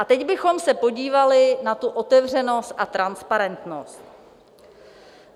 A teď bychom se podívali na tu otevřenost a transparentnost.